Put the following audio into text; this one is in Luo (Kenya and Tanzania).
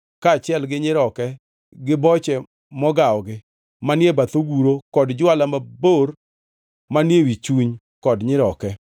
kaachiel gi nyiroke gi boche mogawogi manie bath oguro kod jwala mabor manie wi chuny kod nyiroke,